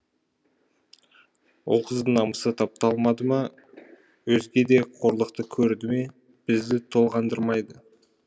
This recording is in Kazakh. ол қыздың намысы тапталды ма өзге де қорлықты көрді ме бізді толғандырмайды